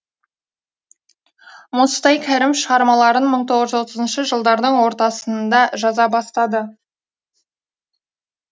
мұстай кәрім шығармаларын мың тоғыз жүз отызыншы жылдардың ортасында жаза бастады